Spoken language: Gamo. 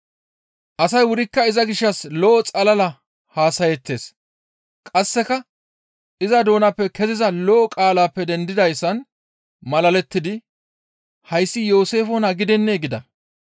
Asay wurikka iza gishshas lo7o xalala haasayeettes; qasseka iza doonappe keziza lo7o qaalaappe dendidayssan malalettidi, «Hayssi Yooseefe naa gidennee?» gida.